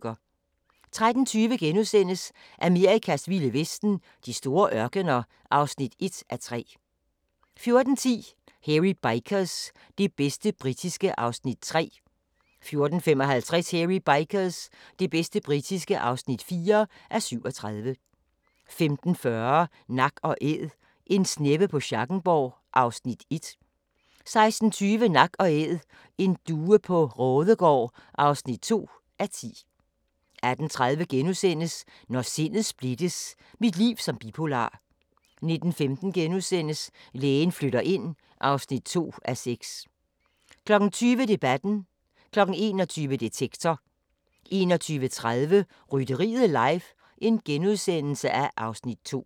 13:20: Amerikas vilde vesten: De store ørkener (1:3)* 14:10: Hairy Bikers – det bedste britiske (3:37) 14:55: Hairy Bikers – det bedste britiske (4:37) 15:40: Nak & Æd - En sneppe på Schackenborg (1:10) 16:20: Nak & Æd: En due på Raadegaard (2:10) 18:30: Når sindet splittes – mit liv som bipolar * 19:15: Lægen flytter ind (2:6)* 20:00: Debatten 21:00: Detektor 21:30: Rytteriet live (Afs. 2)*